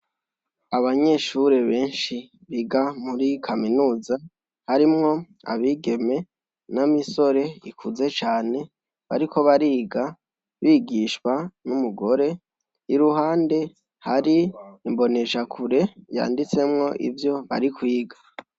Abanyeshure benshi biga muri kaminuza harimwo abigeme n'imisore ikuze cane, bariko bariga, bigishwa n'umugore, iruhande hari imbonesha kure yanditsemwo ivyo bari kwiga.